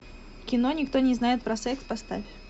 кино никто не знает про секс поставь